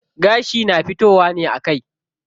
Gashi na fitowa ne a kai.